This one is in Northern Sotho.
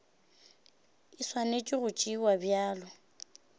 e swanetše go tšewa bjalo